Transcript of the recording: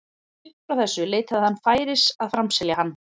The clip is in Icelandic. Upp frá þessu leitaði hann færis að framselja hann.